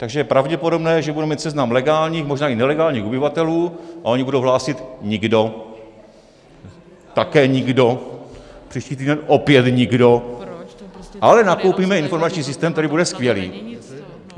Takže je pravděpodobné, že budeme mít seznam legálních, možná i nelegálních ubytovatelů, a oni budou hlásit: nikdo, také nikdo, příští týden opět nikdo, ale nakoupíme informační systém, který bude skvělý.